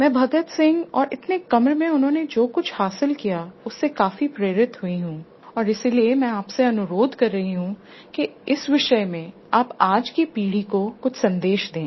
मैं भगत सिंह जिन्होंने बहुत कम उम्र में बहुत कुछ हासिल किया उससे काफी प्रेरित हुई हूँ इसलिए मैं आपसे अनुरोध कर रही हूँ कि इस विषय में आप आज की पीढ़ी को कुछ सन्देश दें